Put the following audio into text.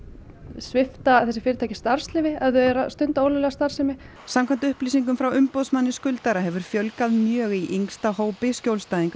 svipta þessi fyrirtæki starfsleyfi ef þau eru að stunda ólöglega starfsemi samkvæmt upplýsingum frá umboðsmanni skuldara hefur fjölgað mjög í yngsta hópi skjólstæðinga